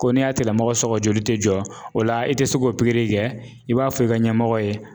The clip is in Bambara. Ko n'i y'a tigilamɔgɔ sɔgɔ joli tɛ jɔ o la i tɛ se k'o pikiri kɛ i b'a fɔ i ka ɲɛmɔgɔ ye.